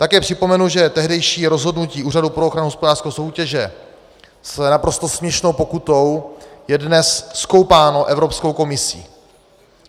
Také připomenu, že tehdejší rozhodnutí Úřadu pro ochranu hospodářské soutěže s naprosto směšnou pokutou je dnes zkoumáno Evropskou komisí.